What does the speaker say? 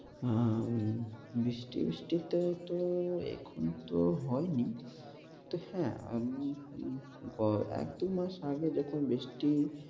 হ্যাঁ হ্যাঁ, বৃষ্টি বৃষ্টিতে তো এখন তো হয় নি। কিন্তু হ্যাঁ, এক-দুই মাস আগে যখন বৃষ্টি